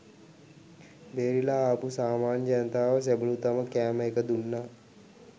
බේරිලා ආපු සාමාන්‍ය ජනතාවට සෙබළු තම කෑම එක දුන්නා.